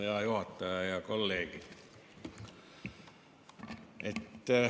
Hea juhataja ja kolleegid!